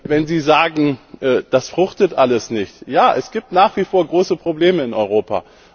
Wenn Sie sagen, das fruchtet alles nicht Ja, es gibt nach wie vor große Probleme in Europa.